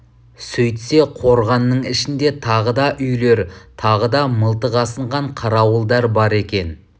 сөйтсе қорғанның ішінде тағы да үйлер тағы да мылтық асынған қарауылдар бар екен